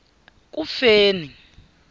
kufeni